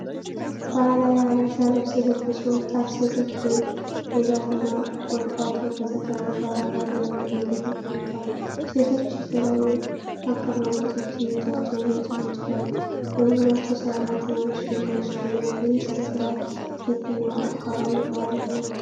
ባህላዊ የሐበሻ ልብስ የለበሱ ወጣት ሴቶች በዛፍና ቁጥቋጦ በተከበበ አፈር ላይ በድንጋይ ተቀምጠዋል። ሴቶቹ በተለያዩ አቀማመጦች እጃቸውን ያጨበጭባሉ፤ በዙሪያቸው ሣርና ትናንሽ ድንጋዮች ይገኛሉ፤ ይህ ሥነ ሥርዓት የትኛው አካባቢ ባህል ሊሆን ይችላል?